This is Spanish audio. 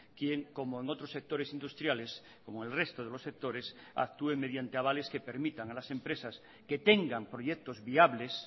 quien como en otros sectores industriales como el resto de los sectores actúen mediante avales que permitan a las empresas que tengan proyectos viables